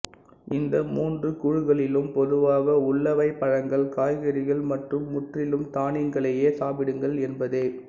இந்த மூன்று குழுக்களிலும் பொதுவாக உள்ளவை பழங்கள் காய்கறிகள் மற்றும் முற்றிலும் தானியங்களையே சாப்பிடுங்கள் என்பதே